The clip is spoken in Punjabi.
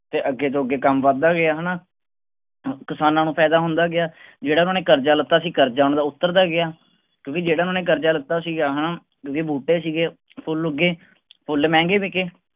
ਤੇ ਅੱਗੇ ਤੋਂ ਅੱਗੇ ਕੰਮ ਵੱਧ ਦਾ ਗਿਆ ਹੈਨਾ ਕਿਸਾਨਾਂ ਨੂੰ ਫਾਇਦਾ ਹੁੰਦਾ ਗਿਆ ਜਿਹੜਾ ਉਹਨਾਂ ਨੇ ਕਰਜਾ ਲਿੱਤਾ ਸੀ ਕਰਜਾ ਉਹਨਾਂ ਦਾ ਉੱਤਰ ਦਾ ਗਿਆ ਕਿਉਂਕਿ ਜਿਹੜਾ ਉਹਨਾਂ ਨੇ ਕਰਜਾ ਲਿੱਤਾ ਸੀਗਾ ਓਹੋ ਜਿਹੜੇ ਬੂਟੇ ਸੀਗੇ ਫੁੱਲ ਉੱਗੇ ਫੁੱਲ ਮਹਿੰਗੇ ਬਿਕੇ